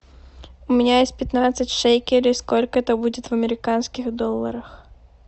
у меня есть пятнадцать шекелей сколько это будет в американских долларах